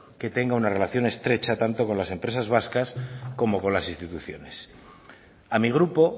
que tenga una relación estrecha tanto con las empresas vascas como con las instituciones a mi grupo